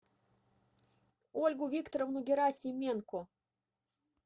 ольгу викторовну герасименко